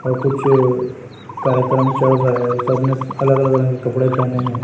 और कुछ कार्यक्रम चल रहा है सब ने अलग अलग रंग के कपड़े पेहने हैं।